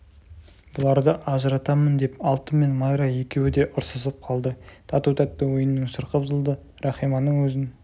бұларды ажыратамын деп алтын мен майра екеуі де ұрсысып қалды тату-тәтті ойынның шырқы бұзылды рахиманың өзін